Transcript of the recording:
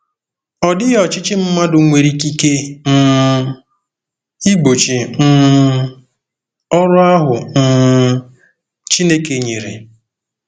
Ọ dịghị ọchịchị mmadụ nwere ikike um igbochi um ọrụ ahụ um Chineke nyere.